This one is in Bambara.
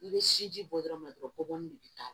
I bɛ sinji bɔ dɔrɔn kɔbɔbɔli de bɛ k'a la